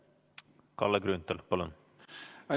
Kalle Grünthal, palun!